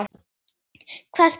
Hvað gerðist?